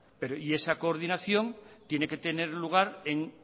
y esa coordinación tiene que tener lugar en